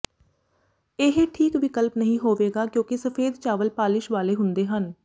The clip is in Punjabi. ਇਹ ਠੀਕ ਵਿਕਲਪ ਨਹੀਂ ਹੋਵੇਗਾ ਕਿਉਂਕਿ ਸਫੇਦ ਚਾਵਲ ਪਾਲਿਸ਼ ਵਾਲੇ ਹੁੰਦੇ ਹਨ